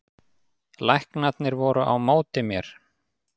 Læknarnir voru á móti mér